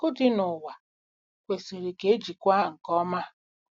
Akụ dị n'ụwa kwesịrị ka e jikwaa nke ọma.